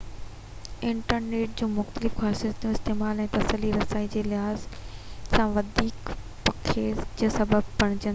internet جون مختلف خاصيتون استعمال ۽ تسلي رسائي جي لحاظ سان وڌيڪ پکيڙ جو سبب بڻجن ٿيون